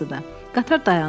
Qatar dayandı.